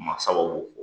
Masaw b'o fɔ